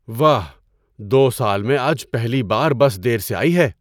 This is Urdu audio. واہ، دو سال میں آج پہلی بار بس دیر سے آئی ہے۔